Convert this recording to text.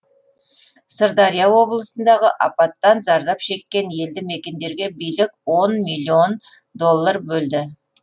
сырдария облысындағы апаттан зардап шеккен елді мекендерге билік он миллион доллар бөлді